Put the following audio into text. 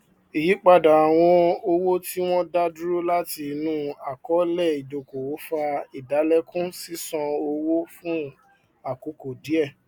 ìyípadà àwọn owó tí wọn dá dúró láti inú àkọọlẹ ìdókòwò fa ìdálẹkùn ṣíṣán owó fun àkókò díẹ